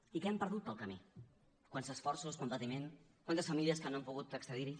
i què hem perdut pel camí quants esforços quant patiment quantes famílies que no han pogut accedir hi